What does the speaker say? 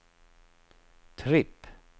tripp